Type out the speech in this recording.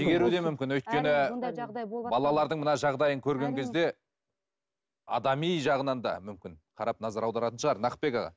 шегеруі де мүмкін өйткені балалардың мына жағдайын көрген кезде адами жағынан да мүмкін қарап назар аударатын шығар нақытбек аға